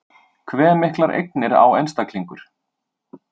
Hve miklar eignir á einstaklingur?